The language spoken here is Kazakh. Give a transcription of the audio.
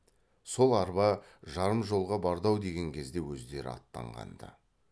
сол арба жарым жолға барды ау деген кезде өздері аттанған ды